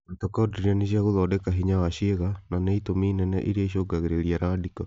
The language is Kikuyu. Mitokondiria nĩ cia gũthondeka hinya wa ciĩga na nĩ itũmi nene irĩa icũngagĩrĩria randiko